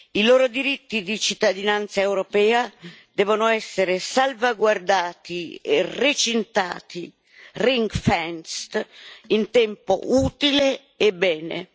I loro diritti di cittadinanza europea devono essere salvaguardati e recintati in tempo utile e bene.